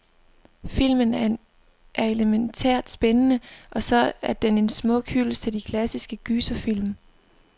Filmen er elemæntært spændende, og så er den en smuk hyldest til de klassiske gyserfilm.